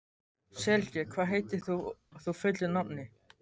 Sylgja, hvað heitir þú fullu nafni?